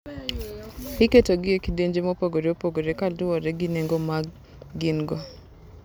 Iketogi e kidienje mopogore opogore kaluwore gi nengo ma gin-go.